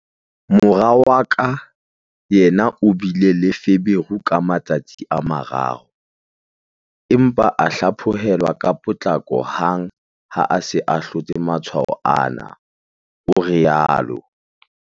"Mora wa ka yena o bile le feberu ka matsatsi a mararo, empa a hlaphohel-wa ka potlako hang ha a se a hlotse matshwao ana," o rialo.